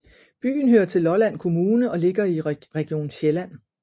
Byen hører til Lolland Kommune og ligger i Region Sjælland